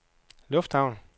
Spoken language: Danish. lufthavn